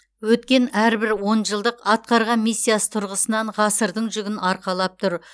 өткен әрбір он жылдық атқарған миссиясы тұрғысынан ғасырдың жүгін арқалап тұр